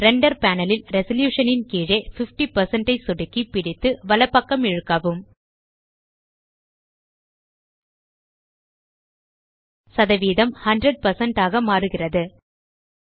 render panel ல் resolution ன் கீழே 50 ஐ சொடுக்கி பிடித்து வலப்பக்கம் இழுக்கவும் சதவீதம் 100 ஆக மாறுகிறது